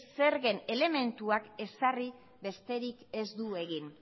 zergen elementuak ezarri besterik ez du egin